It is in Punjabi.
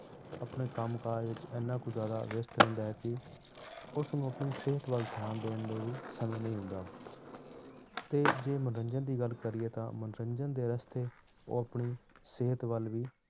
ਆਪਣੇ ਕੰਮ ਕਾਜ ਵਿੱਚ ਇੰਨਾ ਕੁ ਜ਼ਿਆਦਾ ਵਿਅਸ਼ਤ ਰਹਿੰਦਾ ਹੈ ਕਿ ਉਸਨੂੰ ਆਪਣੀ ਸਿਹਤ ਵੱਲ ਧਿਆਨ ਦੇਣ ਦੇ ਲਈ ਸਮੇਂ ਨਹੀਂ ਹੁੰਦਾ ਤੇ ਜੇ ਮਨੋਰੰਜਨ ਦੀ ਗੱਲ ਕਰੀਏ ਤਾਂ ਮਨੋਰੰਜਨ ਦੇ ਰਸਤੇ ਉਹ ਆਪਣੀ ਸਿਹਤ ਵੱਲ ਵੀ